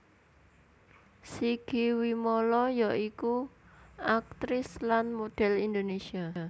Sigi Wimala ya iku aktris lan model Indonesia